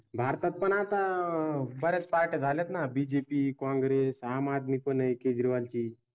हां हां भारतात पण आता बरेच पाठ झाल्यात ना? बीजेपी काँग्रेस आम आदमी पण आहे केजरीवाल ची.